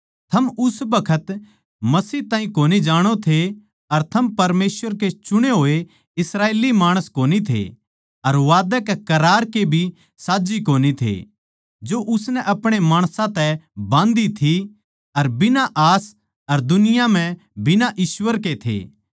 थम उस बखत मसीह ताहीं कोनी जाणो थे अर थम परमेसवर के चुणे होए इस्राएली माणस कोनी थे अर वादे कै करार के भी साझ्झी कोनी थे जो उसनै अपणे माणसां तै बाँधी थी अर बिना आस अर दुनिया म्ह बिना ईश्‍वर के थे